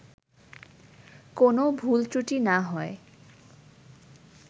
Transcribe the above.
কোনও ভুল ত্রুটি না হয়